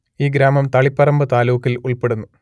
ഈ ഗ്രാമം തളിപ്പറമ്പ് താലൂക്കിൽ ഉൾപ്പെടുന്നു